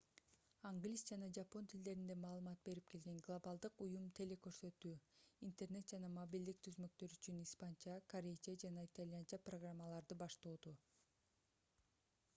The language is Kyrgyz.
англис жана жапон тилдеринде маалымат берип келген глобалдык уюм теле-көрсөтүү интернет жана мобилдик түзмөктөр үчүн испанча корейче жана итальянча программаларды баштоодо